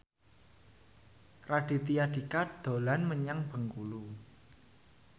Raditya Dika dolan menyang Bengkulu